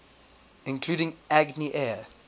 including agni air